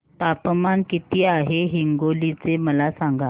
तापमान किती आहे हिंगोली चे मला सांगा